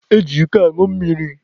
E ji iko añụ mmiri.